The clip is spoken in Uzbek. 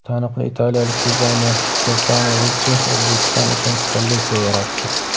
Taniqli italiyalik dizayner Stefano Richchi O‘zbekiston uchun kolleksiya yaratdi.